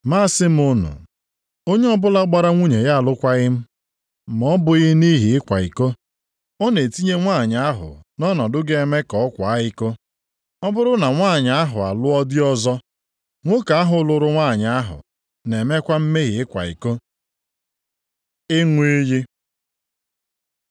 Ma asị m unu, onye ọbụla gbara nwunye ya alụkwaghị m, ma ọ bụghị nʼihi ịkwa iko, ọ na-etinye nwanyị ahụ nʼọnọdụ ga-eme ka ọ kwaa iko. Ọ bụrụ na nwanyị ahụ alụọ di ọzọ, nwoke ahụ lụrụ nwanyị ahụ na-emekwa mmehie ịkwa iko. Ịṅụ iyi